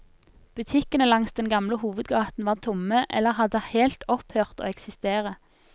Butikkene langs den gamle hovedgaten var tomme eller hadde helt opphørt å eksistere.